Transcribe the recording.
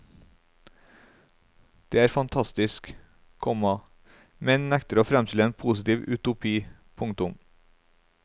Den er fantastisk, komma men nekter å fremstille en positiv utopi. punktum